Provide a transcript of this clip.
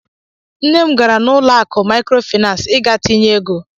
Nne m gara n'ụlọ akụ maịkrofịnans ịga tinye ego.